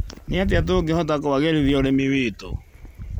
Nĩ atĩa tũngĩhota kũagĩrithia ũrĩmi witũ?